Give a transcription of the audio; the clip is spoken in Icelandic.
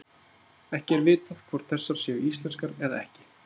Ekki er vitað hvort þessar séu íslenskar eða ekki.